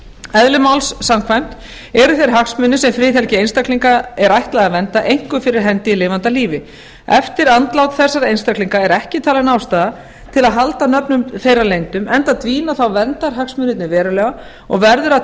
eðli máls samkvæmt eru þeir hagsmunir sem friðhelgi einstaklinga er ætlað að vernda einkum fyrir hendi í lifanda lífi eftir andlát þessara einstaklinga er ekki talin ástæða til að halda nöfnum þeirra leyndum enda dvína þá verndarhagsmunirnir verulega og verður að